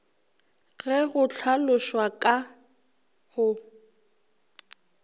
ge go hlalošwa ka go